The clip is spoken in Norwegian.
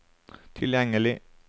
tilgjengelig